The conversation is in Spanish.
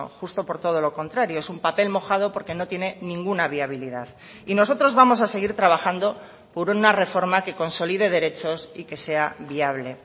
justo por todo lo contrario es un papel mojado porque no tiene ninguna viabilidad y nosotros vamos a seguir trabajando por una reforma que consolide derechos y que sea viable